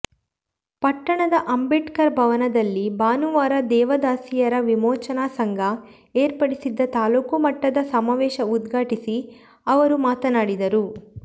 ಪಟ್ಟಣದ ಅಂಬೇಡ್ಕರ್ ಭವನದಲ್ಲಿ ಭಾನುವಾರ ದೇವದಾಸಿಯರ ವಿಮೋಚನಾ ಸಂಘ ಏರ್ಪಡಿಸಿದ್ದ ತಾಲ್ಲೂಕು ಮಟ್ಟದ ಸಮಾವೇಶ ಉದ್ಘಾಟಿಸಿ ಅವರು ಮಾತನಾಡಿದರು